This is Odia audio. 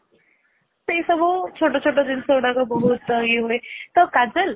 ସେ ସବୁ ଛୋଟ ଛୋଟ ଜିନିଷ ଗୁଡାକ ବହୁତ ଇଏ ହୁଏ ତ କାଜଲ